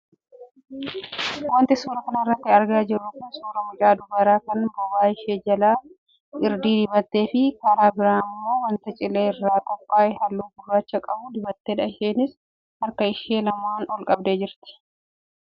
Wanti suuraa kanarraa argaa jirru kun suuraa mucaa dubaraa kan bobaa ishee jala irdii dibattee fi karaa biraa immoo wanta cilee irraa qophaa'ee halluu gurraacha qabu dibattedha. Isheenis harka ishee lamaan ol qabdee jirti.